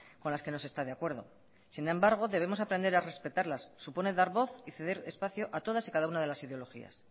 con las que no se está de acuerdo sin embargo debemos aprender a respetarlas suponen dar voz y ceder espacio a todas y cada una de las ideologías